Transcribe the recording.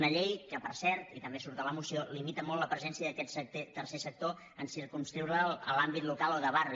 una llei que per cert i també surt a la moció limita molt la presència d’aquest tercer sector en circumscriure’l a l’àmbit local o de barri